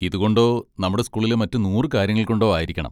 ഇതുകൊണ്ടോ നമ്മുടെ സ്കൂളിലെ മറ്റ് നൂറ് കാര്യങ്ങൾ കൊണ്ടോ ആയിരിക്കണം.